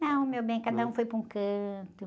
Não, meu bem, cada um foi para um canto.